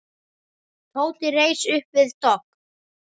Tóti reis upp við dogg.